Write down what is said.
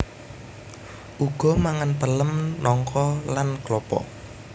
Uga mangan pelem nangka lan klapa